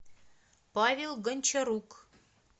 павел гончарук